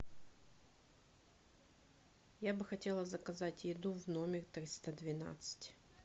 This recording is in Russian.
я бы хотела заказать еду в номер триста двенадцать